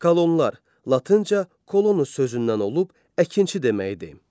Kolonlar latınca kolonu sözündən olub əkinçi demək idi.